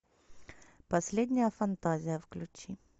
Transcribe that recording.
последняя фантазия включи